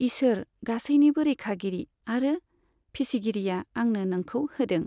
ईसोर, गासैनिबो रैखागिरि आरो फिसिगिरिआ आंनो नोंखौ होदों।